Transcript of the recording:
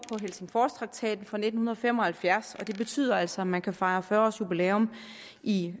helsingforstraktaten fra nitten fem og halvfjerds og det betyder altså at man kan fejre fyrre årsjubilæum i